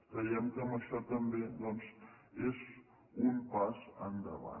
creiem que això també doncs és un pas endavant